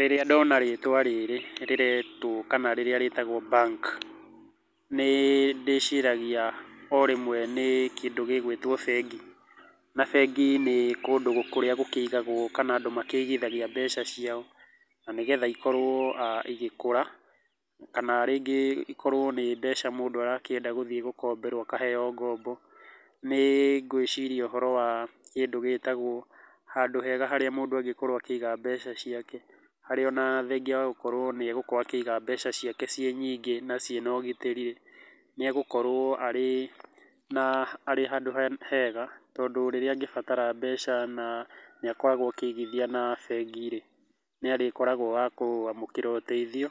Rĩrĩa ndona rĩtwa rĩrĩ rĩretwa kana rĩrĩa rĩtagwo bank, nĩ ndĩciragia o rĩmwe nĩ kĩndũ gĩgwĩtwo bengi, na bengi nĩ kũndũ kũria gũkĩigagwo kana andũ makĩgithagia mbeca cĩao, na nĩgetha ikorwo aah igĩkũra, kana rĩngĩ ikorwo nĩ mbeca mũndu arakĩenda gũthĩĩ gũkomberwo akaheyo ngombo, nĩ ngwĩciria ũhoro wa, kĩndũ gĩtagwo, handũ hega haria mũndũ angĩkorwo akĩĩga mbeca ciake, haria ona thengia wa gũkorwo nĩ egũkorwo akĩĩga mbeca ciake ciĩ nyingĩ na ciĩna ũgitĩriĩ, nĩ egũkorwo arĩ, na arĩ handũ hega, tondũ rĩrĩa angĩbatara mbeca na nĩ akoragwo akĩgithia na bengi-rĩ, nĩarĩkoragwo wa kwamũkĩra ũtethio,